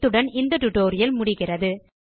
இத்துடன் இந்த டுடோரியல் முடிகிறது